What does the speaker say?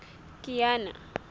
kiana